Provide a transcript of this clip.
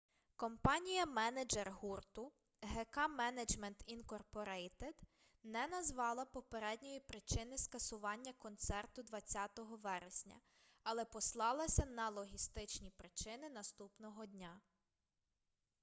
компанія-менеджер гурту гк менеджмент інкорпорейтед не назвала попередньої причини скасування концерту 20 вересня але послалася на логістичні причини наступного дня